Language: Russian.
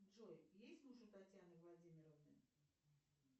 джой есть муж у татьяны владимировны